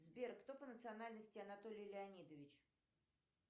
сбер кто по национальности анатолий леонидович